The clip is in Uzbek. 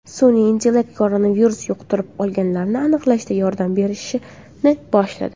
Sun’iy intellekt koronavirus yuqtirib olganlarni aniqlashda yordam berishni boshladi.